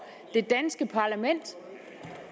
det danske parlament